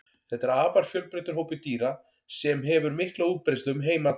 Þetta er afar fjölbreyttur hópur dýra sem hefur mikla útbreiðslu um heim allan.